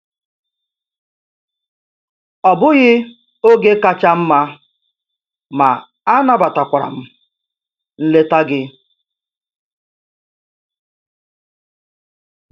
Ọ bụghị oge kacha mma, ma anabatakwara m nleta gị.